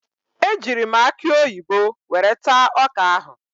Ejiiri m akụ oyibo were taa ọka ahụ.